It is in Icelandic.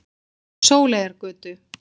Sóleyjargötu